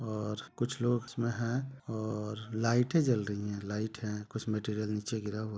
और कुछ लोग इसमे है और लाइटे जल रही है लाइट है कुछ मेटीरियल नीचे गिरा हुआ--